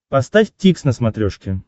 поставь дтикс на смотрешке